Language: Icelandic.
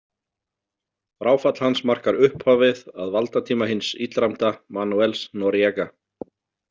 Fráfall hans markar upphafið af valdatíma hins illræmda Manuels Noriega.